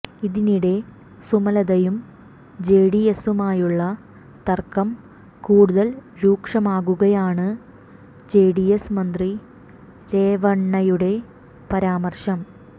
ഇതിനിടെ സുമലതയും ജെഡിഎസുമായുള്ള തർക്കം കൂടുതൽ രൂക്ഷമാക്കുകയാണ് ജെഡിഎസ് മന്ത്രി രേവണ്ണയുടെ പരാമർശം